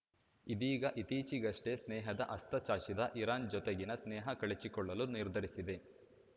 ಇದೀಗ ಇತ್ತೀಚೆಗಷ್ಟೇ ಸ್ನೇಹದ ಹಸ್ತಚಾಚಿದ್ದ ಇರಾನ್‌ ಜೊತೆಗಿನ ಸ್ನೇಹ ಕಳಚಿಕೊಳ್ಳಲು ನಿರ್ಧರಿಸಿದೆ